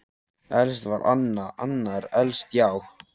Elst var Anna, Anna er elst, já.